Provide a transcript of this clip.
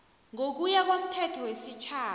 ngokuya komthetho wesitjhaba